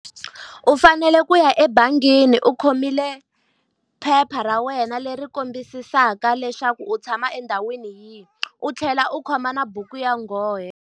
U fanele ku ya ebangini u khomile phepha ra wena leri kombisaka leswaku u tshama endhawini yihi, u tlhela u khoma na buku ya nghohe.